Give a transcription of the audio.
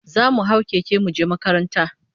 Zamu hau keke muje makaranta